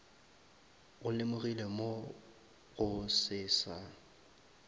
go lemogilwe mogo se sa